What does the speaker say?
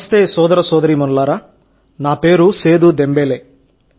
నమస్తే సోదర సోదరీమణులారా నా పేరు సేదు దెంబేలే